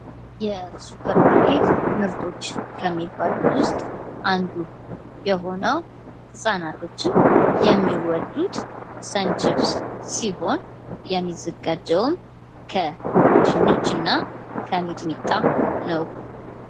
የሱፐር ማርኬት ምርቶች ከሚባሉት ውስጥ አንዱ የሆነው ህጻናቶችን የሚወዱት ሰንችብስ ሲሆን የሚዘጋጀውም ከድንችና ከሚጥሚጣ ነው ።